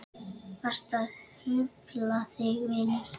Varstu að hrufla þig vinur?